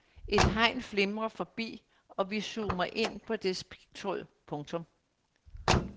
Et hegn flimrer forbi og vi zoomer ind på dets pigtråd. punktum